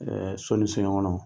so ni soɲɛkɔnɔ.